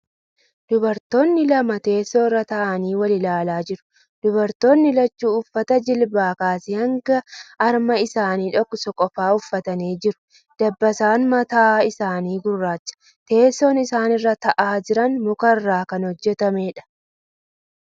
Dubartootni lama teessoo irra taa'anii wal ilaalaa jiru. Dubartootni lachuu uffata jilbaa kaasee hanga harma isaanii dhoksu qofa uffatanii jiru. Dabbasaan mataa isaanii gurraacha. Teesson isaan irra taa'aa jiran muka irraa kan hojjatameedha.